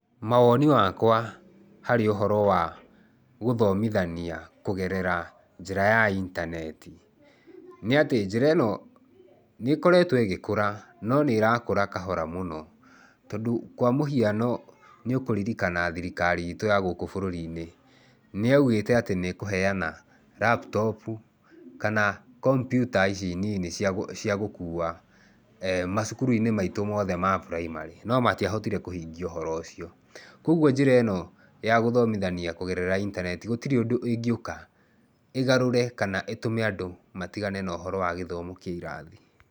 Mawoni wakwa harĩ ũhoro wa gũthomithania kũgerera njĩra ya intaneti nĩ atĩ njĩra ĩno nĩkoretwo ĩgĩkũra no nĩ ĩrakũra kahora mũno tondũ kwa mũhiano, nĩ ũkũririkana thirikari itũ ya gũkũ bũrũri-inĩ, nĩyaugĩte atĩ nĩ ĩkũheana laptop kana kompiuta ici nini cia gũkua macukuru-inĩ maitũ mothe ma primary, no matiahotire kũhingia ũhoro ũcio. Koguo njĩra ĩno ya gũthomithania kũgerera intaneti, gũtirĩ ũndũ ĩngĩũka ĩgarũre kana ĩtũme andũ matigane na ũhoro wa gĩthomo kĩa irathi.